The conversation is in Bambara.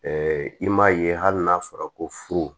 i m'a ye hali n'a fɔra ko furu